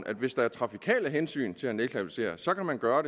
at hvis der er trafikale hensyn til at nedklassificere kan man gøre